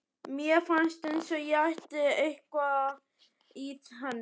Mér fannst eins og ég ætti eitthvað í henni.